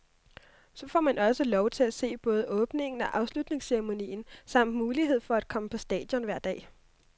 Så får man også lov til at se både åbningen og afslutningsceremonien samt mulighed for at komme på stadion hver dag.